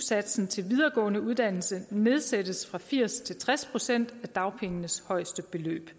satsen til videregående uddannelse nedsættes fra firs procent til tres procent af dagpengenes højeste beløb